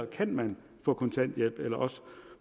kan få kontanthjælp eller